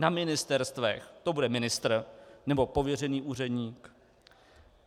Na ministerstvech to bude ministr, nebo pověřený úředník?